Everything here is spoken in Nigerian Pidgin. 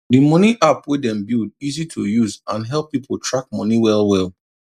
d money app wey dem build easy to use and help people track money well well